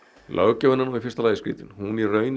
löggjöfin er í fyrsta lagi skrítin hún í raun